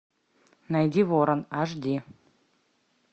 найди ворон аш ди